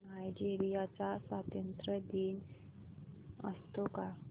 Nigeria चा स्वातंत्र्य दिन असतो का